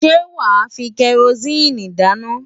Ṣé wàá fi kẹrosíìnì dáná?